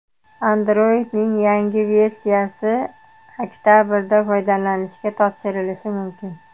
Android’ning yangi versiyasi oktabrda foydalanishga topshirilishi mumkin.